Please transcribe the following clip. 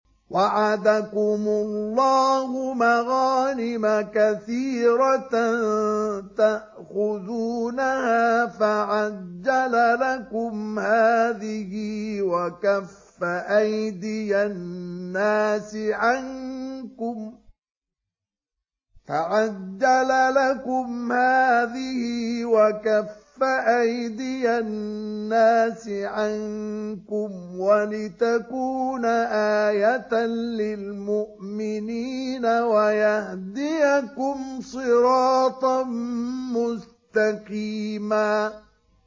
وَعَدَكُمُ اللَّهُ مَغَانِمَ كَثِيرَةً تَأْخُذُونَهَا فَعَجَّلَ لَكُمْ هَٰذِهِ وَكَفَّ أَيْدِيَ النَّاسِ عَنكُمْ وَلِتَكُونَ آيَةً لِّلْمُؤْمِنِينَ وَيَهْدِيَكُمْ صِرَاطًا مُّسْتَقِيمًا